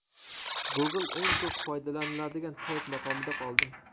Google eng ko‘p foydalaniladigan sayt maqomida qoldi.